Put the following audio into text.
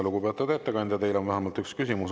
Lugupeetud ettekandja, teile on vähemalt üks küsimus.